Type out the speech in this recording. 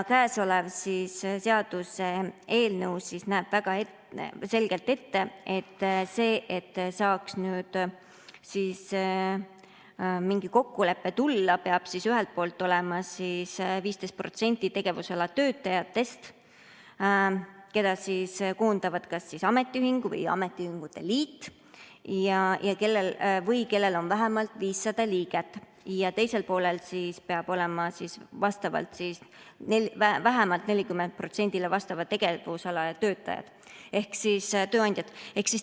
Käesolev seaduseelnõu näeb väga selgelt ette, et selleks, et saaks mingi kokkulepe tulla, peab ühel pool olema kas 15% tegevusala töötajatest, keda koondavad kas ametiühing või ametiühingute liit, või seal peab olema vähemalt 500 liiget, ja teisel pool peavad olema tööandjad vähemalt 40%‑le vastava tegevusala.